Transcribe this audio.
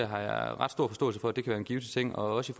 har jeg ret stor forståelse for kan være en givtig ting også